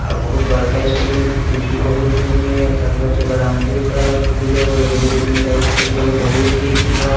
आ बहुत बड़का स्कूल हई खिड़की बहुत हई ओमे | चारों तरफ से बॉउंड्री भी करल हई खिड़की कैगो हई एगो दुगो तीन गो चार गो पांच गो छेगो बहुत खिड़की हई।